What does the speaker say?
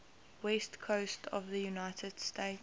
west coast of the united states